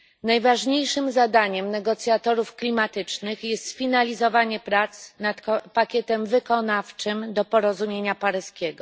Najważniejszym zadaniem negocjatorów klimatycznych jest sfinalizowanie prac nad pakietem wykonawczym do porozumienia paryskiego.